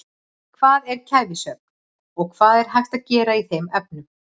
Hvað er kæfisvefn og hvað er hægt að gera í þeim efnum?